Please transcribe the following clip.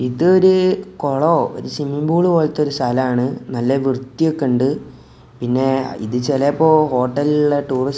ഇതൊരു കൊളോ ഒരു സ്വിമ്മിങ്ങ് പൂള് പോലത്തെ ഒരു സ്ഥലാണ് നല്ല വൃത്തി ഒക്കെ ഉണ്ട് പിന്നെ ഇത് ചെലപ്പോ ഹോട്ടലിലൊള്ള ടൂറിസ്റ്റ് --